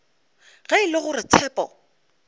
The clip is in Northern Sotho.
ge e le gore tshepo